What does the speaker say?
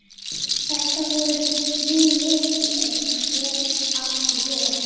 Þetta voru mín mistök en hvert átti ég að hlaupa?